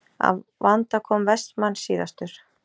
Að vanda kom Vestmann síðastur.